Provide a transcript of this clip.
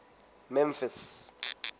memphis